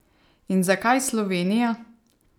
In zakaj Slovenija?